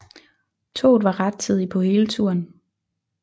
Toget var rettidigt på hele turen